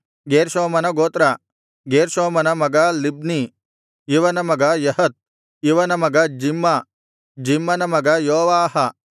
ಗೇರ್ಷೋಮನ ಗೋತ್ರ ಗೇರ್ಷೋಮನ ಮಗ ಲಿಬ್ನೀ ಇವನ ಮಗ ಯಹತ್ ಇವನ ಮಗ ಜಿಮ್ಮ ಜಿಮ್ಮನ ಮಗ ಯೋವಾಹ